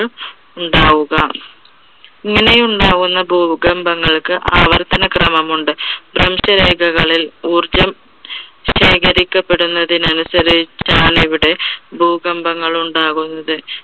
ഉണ്ടാവുക. ഇങ്ങനെ ഉണ്ടാകുന്ന ഭൂകമ്പങ്ങൾക്ക് ആവർത്തന ക്രമമുണ്ട്. ഭ്രംശരേഖകളിൽ ഊർജം ശേഖരിക്കപ്പെടുന്നതിന് അനുസരിച്ചാണ് ഇവിടെ ഭൂകമ്പങ്ങൾ ഉണ്ടാകുന്നത്.